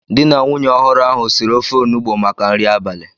Di na nwunye ọhụrụ ahu siri ofe onugbo maka nri abalị